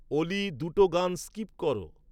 অলি দুটো গান স্কিপ কর